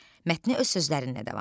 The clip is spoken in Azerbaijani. Mətni öz sözlərinlə davam etdir.